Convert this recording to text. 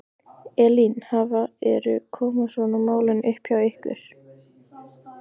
Elín, hafa, eru, koma svona mál upp hjá ykkur?